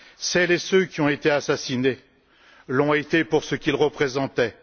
Celles et ceux qui ont été assassinés l'ont été pour ce qu'ils représentaient.